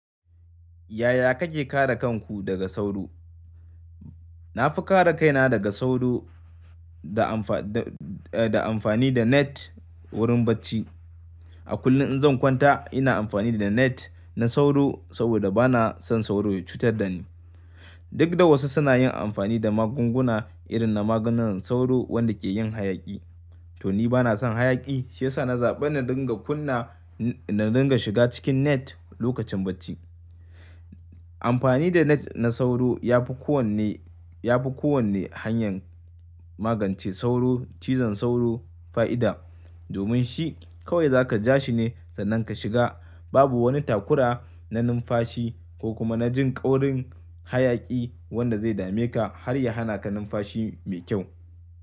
Yaya kake kare kanku daga sauro? Na fi kare kaina daga sauro da amfa-da, eh, da amfani da net wurin bacci. A kullum in zan kwanta ina amfani da net na sauro saboda bana son sauro ya cutar da ni. Duk da wasu suna yin amfani da magunguna irin na maganin sauro wanda ke yin hayaƙi. To ni bana son hayaƙi, shi ya sa na zaɓi na dinga kunna, na dinga shiga cikin net lokacin bacci. Amfani da net na sauro ya fi kowane, ya fi kowane hanyar magance sauro, cizon sauro fa'ida. Domin shi kawai za ka ja shi ne sannan ka shiga. Babu wani takura na numfashi ko kuma na jin ƙaurin hayaƙi wanda zai dame ka har ya hana ka numfashi mai kyau.